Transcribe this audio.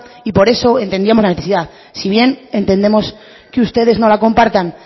y por eso entendíamos la necesidad si bien entendemos que ustedes no la compartan